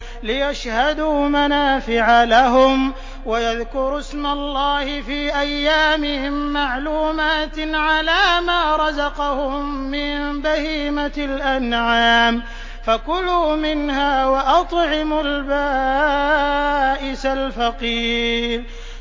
لِّيَشْهَدُوا مَنَافِعَ لَهُمْ وَيَذْكُرُوا اسْمَ اللَّهِ فِي أَيَّامٍ مَّعْلُومَاتٍ عَلَىٰ مَا رَزَقَهُم مِّن بَهِيمَةِ الْأَنْعَامِ ۖ فَكُلُوا مِنْهَا وَأَطْعِمُوا الْبَائِسَ الْفَقِيرَ